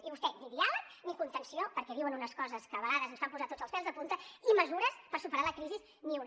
i vostè ni diàleg ni contenció perquè diuen unes coses que a vegades ens fan posar tots els pèls de punta i mesures per superar la crisi ni una